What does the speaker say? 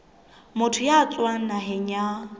motho ya tswang naheng ya